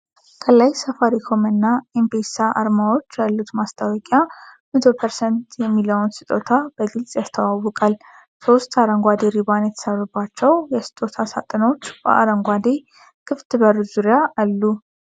ከላይ "ሳፋሪኮም" እና "ኤም-ፔሳ" አርማዎች ያሉት ማስታወቂያ 100% የሚለውን ስጦታ በግልጽ ያስተዋውቃል። ሶስት አረንጓዴ ሪባን የታሰሩባቸው የስጦታ ሳጥኖች በአረንጓዴ ክፍት በር ዙሪያ አሉ።